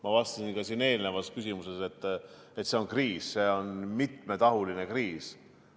Ma vastasin siin eelnevale küsimusele, et see kriis on mitmetahuline kriis.